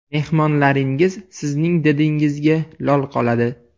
Mehmonlaringiz sizning didingizga lol qoladi.